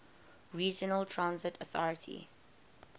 regional transit authority